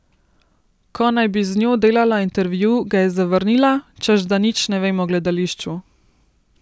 Ko naj bi z njo delala intervju, ga je zavrnila, češ da nič ne vem o gledališču.